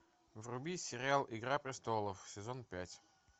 вруби сериал игра престолов сезон пять